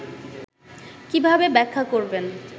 কীভাবে ব্যাখ্যা করবেন